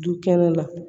Du kɛnɛ la